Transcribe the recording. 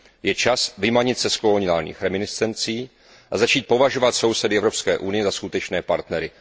Je čas vymanit se z koloniálních reminiscencí a začít považovat sousedy Evropské unie za skutečné partnery.